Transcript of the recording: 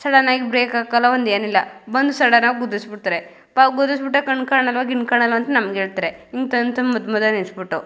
Sudden ಆಗಿ brake ಹಾಕಲ್ಲ ಒಂದ್ ಏನಿಲ್ಲ ಬಂದ್ ಸಡನ್ ಆಗಿ ಗುದ್ದಿಸ್ಬಿಡ್ತಾರೆ ತಾವ್ ಗುದ್ದಿಸ್ಬಿಟ್ಟು ಕಣ್ ಕಾಣಲ್ವಾ ಗಿನ್ ಕಾಣಲ್ವಾ ಅಂತ ನಂಗ್ ಹೇಳ್ತಾರೆ. ಇಂಥಾವರ್ನ್ ಮದ್ಯ ನಿಲ್ಲಿಸ್ಬಿಟ್ಟು--